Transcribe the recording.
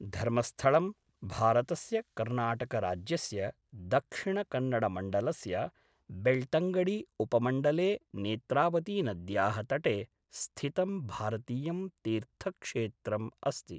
धर्मस्थळं, भारतस्य कर्णाटकराज्यस्य दक्षिणकन्नडमण्डलस्य बेळ्तङ्गडी उपमण्डले नेत्रावतीनद्याः तटे स्थितं भारतीयं तीर्थक्षेत्रम् अस्ति।